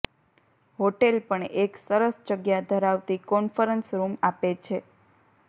hotel પણ એક સરસ જગ્યા ધરાવતી કોન્ફરન્સ રૂમ આપે છે